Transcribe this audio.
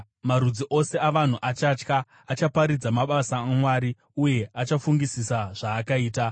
Marudzi ose avanhu achatya; achaparidza mabasa aMwari, uye achafungisisa zvaakaita.